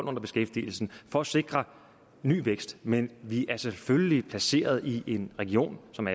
under beskæftigelsen for at sikre ny vækst men vi er selvfølgelig placeret i en region som